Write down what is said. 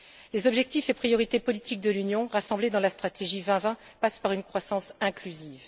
Les objectifs et priorités politiques de l'Union, rassemblés dans la stratégie Europe 2020, passent par une croissance inclusive.